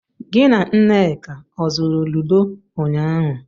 Gị na Nneka ọ zụrụ Lido ụnyaahụ?